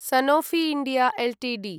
Sanofi India Ltd